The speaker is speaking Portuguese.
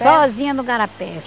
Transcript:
Sozinha no igarapé.